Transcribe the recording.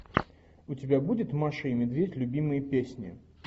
у тебя будет маша и медведь любимые песни